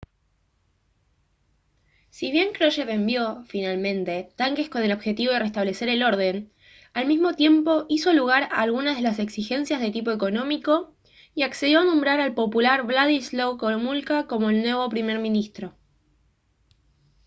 si bien krushev envió finalmente tanques con el objetivo de restablecer el orden al mismo tiempo hizo lugar a algunas de las exigencias de tipo económico y accedió a nombrar al popular wladyslaw gomulka como el nuevo primer ministro